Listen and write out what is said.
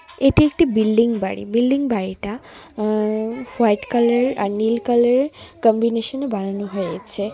এটি একটি বিল্ডিং বাড়ি বিল্ডিং বাড়িটা অ্য হোয়াইট কালার আর নীল কালার এর কম্বিনেশন এ বানানো হয়েছে।